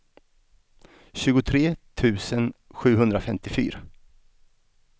tjugotre tusen sjuhundrafemtiofyra